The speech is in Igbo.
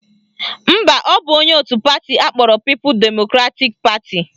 Mba, ọ bụ onye otu pati akpọrọ People Democratic Party